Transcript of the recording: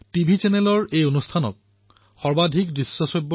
TV চেনেলে ইয়াক most watched radio প্ৰগ্ৰামে হিচাপে ঘোষণা কৰিছে